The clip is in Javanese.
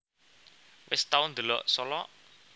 Wes tau ndelok Solok